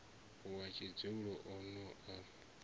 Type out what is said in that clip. wa tshidzulo o no a